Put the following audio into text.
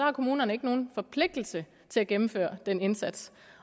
har kommunerne ikke nogen forpligtelse til at gennemføre den indsats